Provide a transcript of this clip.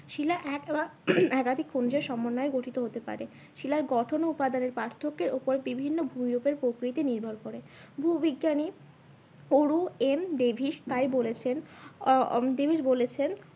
শিলা এক বা একাধিক খনিজ সমন্বয়ে গঠিত হতে পারে। শিলা গঠন ও উপাদানের পার্থক্যের উপর বিভিন্ন ভূমি রূপের প্রকৃতি নির্ভর করে। ভূবিজ্ঞানী তা বলেছেন আহ ডেভিস বলেছেন